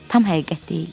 Tam həqiqət deyildi.